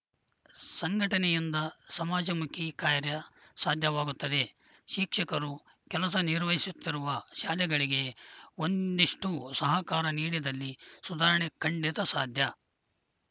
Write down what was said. ಸಂಘಟನೆಯಿಂದ ಸಮಾಜಮುಖಿ ಕಾರ್ಯ ಸಾಧ್ಯವಾಗುತ್ತದೆ ಶಿಕ್ಷಕರು ಕೆಲಸ ನಿರ್ವಹಿಸುತ್ತಿರುವ ಶಾಲೆಗಳಿಗೆ ಒಂದಿಷ್ಟುಸಹಕಾರ ನೀಡಿದಲ್ಲಿ ಸುಧಾರಣೆ ಖಂಡಿತಾ ಸಾಧ್ಯ